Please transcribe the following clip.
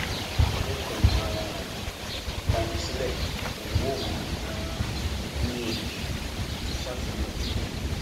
mo kàn um lanu sílé mò ń wò wọn um ni o àti sáfù náà